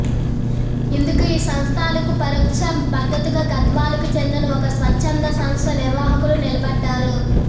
ఇందుకు ఈ సంస్థలకు పరోక్ష మద్దతుగా గద్వాలకు చెందిన ఒక స్వచ్చంద సంస్థ నిర్వాహకుడు నిలబడ్డారు